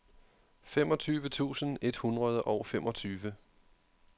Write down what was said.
femogtyve tusind et hundrede og femogtyve